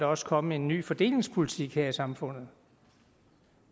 også komme en ny fordelingspolitik her i samfundet